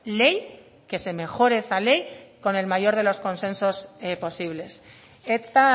ley que se mejore esa ley con el mayor de los consensos posibles eta